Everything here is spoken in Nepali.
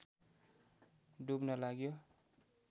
डुब्न लाग्यो